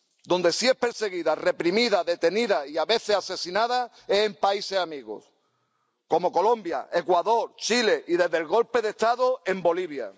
Donde sí es perseguida, reprimida, detenida y a veces asesinada es en países amigos como Colombia, Ecuador, Chile y, desde el golpe de Estado, en Bolivia.